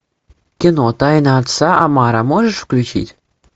кино тайна отца амаро можешь включить